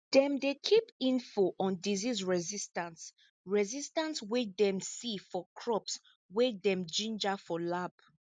dem dey keep info on disease resistance resistance wey dem see for crops wey dem ginger for lab